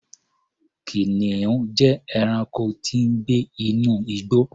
Kìnìún jẹ́ ẹranko tí ń gbé inú igbó.